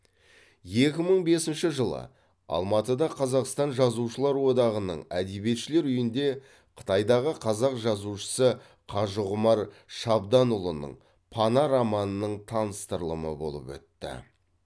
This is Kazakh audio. екі мың бесінші жылы алматыда қазақстан жазушылар одағының әдебиетшілер үйінде қытайдағы қазақ жазушысы қажығұмар шабданұлының пана романының таныстырылымы болып өтті